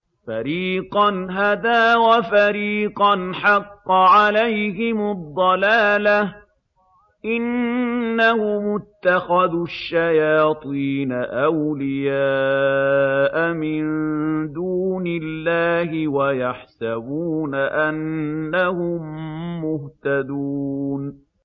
فَرِيقًا هَدَىٰ وَفَرِيقًا حَقَّ عَلَيْهِمُ الضَّلَالَةُ ۗ إِنَّهُمُ اتَّخَذُوا الشَّيَاطِينَ أَوْلِيَاءَ مِن دُونِ اللَّهِ وَيَحْسَبُونَ أَنَّهُم مُّهْتَدُونَ